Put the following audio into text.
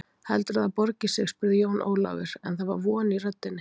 Heldurðu að það borgi sig spurði Jón Ólafur, en það var von í röddinni.